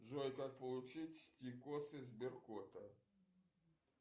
джой как получить стикосы сберкота